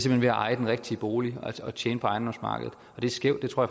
hen ved at eje den rigtige bolig og tjene på ejendomsmarkedet det er skævt og